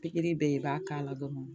Pikiri be yen, i b'a k'a la dɔrɔn